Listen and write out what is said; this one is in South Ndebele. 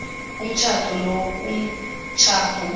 umtjhado lowo kumtjhado